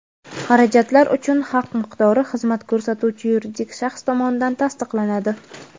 Xarajatlar uchun haq miqdori xizmat ko‘rsatuvchi yuridik shaxs tomonidan tasdiqlanadi.